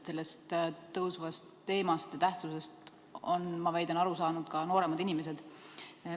Selle teema tähtsusest on, ma väidan, aru saanud ka nooremad inimesed.